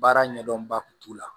Baara ɲɛdɔnba kun t'u la